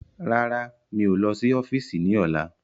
Rárá, mi ò lọ sí ọ́fíìsì ni ọ̀la.